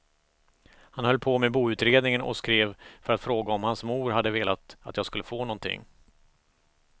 Han höll på med boutredningen och skrev för att fråga om hans mor hade velat att jag skulle få någonting.